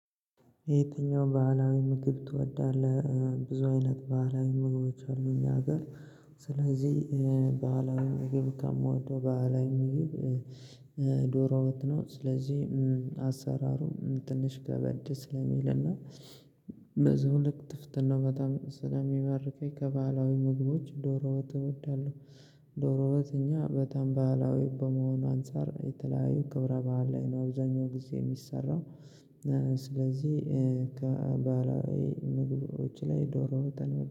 የትኛው ባህላዊ ምግብ ትወዳለህ? ብዙ አይነት ባህላዊ ምግቦች አሉ እኛ ሀገር። ስለዚህ በሃላዊ ምግብ ከምወደው በዓላዊ ምግብ። ዶሮ ወጥ ነው። ስለዚህ አሰራሩ ትንሽ ከበድ ስለሚልና። በዛው ልክ ጥፍጥና በጣም ስለሚበርከኝ ከባህላዊ ምግቦች ዶሮ ወጥ እወዳለሁ። ዶሮ ወጥ እኛ በጣም ባህላዊ በመሆኑ አንፃር የተለያዩ ክብረ በዓል ላይ ነው አብዛኛው ጊዜ የሚሰራው። ስለዚህ ከባህላዊ ምግቦች ላይ ዶሮ ወጥን